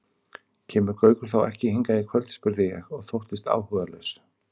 Kemur Gaukur þá ekki hingað í kvöld? spurði ég og þóttist áhugalaus.